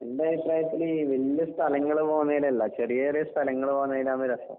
എന്റെ അഭിപ്രായത്തില് വല്യ സ്ഥലങ്ങള് പോകുന്നേലല്ല. ചെറിയ ചെറിയ സ്ഥലങ്ങള് പോകുന്നേലാണ് രസം.